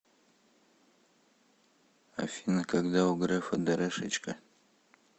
афина когда у грефа дэрэшечка